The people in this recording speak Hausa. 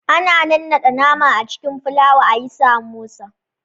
Ana nannaɗe nama a cikin filawa ayi Samosa